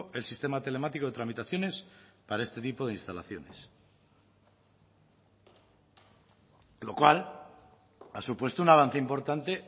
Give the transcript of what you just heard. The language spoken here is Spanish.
el sistema telemático de tramitaciones para este tipo de instalaciones lo cual ha supuesto un avance importante